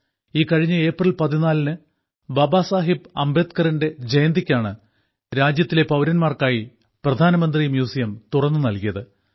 ഈ കഴിഞ്ഞ ഏപ്രിൽ 14 ന് ബാബ സാഹേബ് അംബേദ്ക്കറിന്റെ ജയന്തിക്കാണ് രാജ്യത്തിലെ പൌരന്മാർക്കായി പ്രധാനമന്ത്രി മ്യൂസിയം തുറന്നു നൽകിയത്